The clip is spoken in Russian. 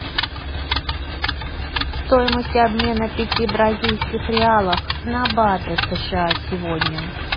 стоимость обмена пяти бразильских реалов на баты сша сегодня